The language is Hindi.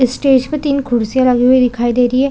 स्टेज पे तीन कुर्सिया लगी हुई दिखाई दे रही हैं ।